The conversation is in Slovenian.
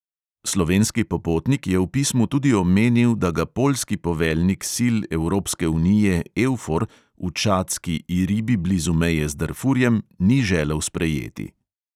Slovenski popotnik je v pismu tudi omenil, da ga poljski poveljnik sil evropske unije eufor v čadski iribi blizu meje z darfurjem ni želel sprejeti.